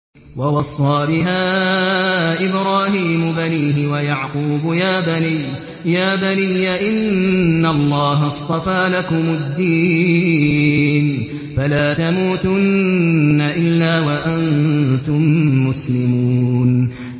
وَوَصَّىٰ بِهَا إِبْرَاهِيمُ بَنِيهِ وَيَعْقُوبُ يَا بَنِيَّ إِنَّ اللَّهَ اصْطَفَىٰ لَكُمُ الدِّينَ فَلَا تَمُوتُنَّ إِلَّا وَأَنتُم مُّسْلِمُونَ